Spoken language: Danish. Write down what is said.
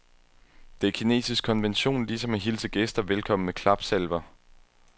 Det er kinesisk konvention, ligesom at hilse gæster velkommen med klapsalver.